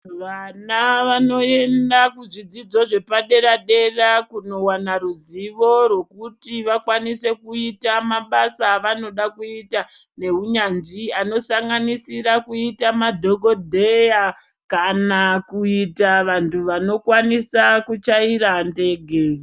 Vana vanoenda kuzvidzidzo zvepadera dera kuzowana ruzivo rwekuti vakwanise kuita mabasa vanoda kuita neunyanzvi anosanganisira kuita madhokodheya kana kuita vantu vanokwanisa kuchaira ndege.